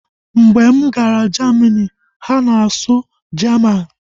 Mgbe m gara Jamini, ha nọ na-asụ Jaman